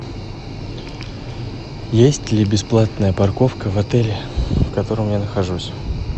есть ли бесплатная парковка в отеле в котором я нахожусь